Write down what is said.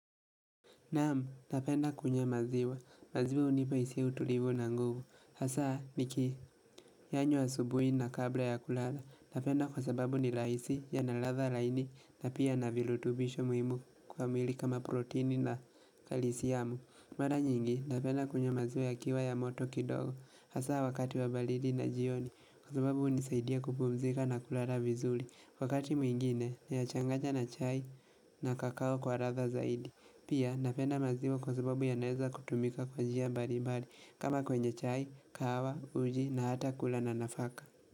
Naam, napenda kunywa maziwa. Maziwa hunipa hisia utulivu na nguvu. Hasa, nikiyanywa asubuhi na kabla ya kulala. Napenda kwa sababu ni laisi yana ladha laini na pia na vilutubisho muhimu kwa mwili kama proteini na kalisiamu. Mara nyingi, napenda kunywa maziwa yakiwa ya moto kidogo. Hasa, wakati wa balidi na jioni, kwa sababu hunisaidia kupumzika na kulala vizuli. Wakati mwingine, nayachanganya na chai na kakao kwa ladha zaidi. Pia napenda maziwa kwa sababu yanaeza kutumika kwa njia mbali mbali kama kwenye chai, kahawa, uji na hata kula na nafaka.